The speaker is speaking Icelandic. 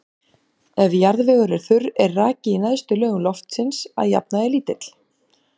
Ef jarðvegur er þurr er raki í neðstu lögum loftsins að jafnaði lítill.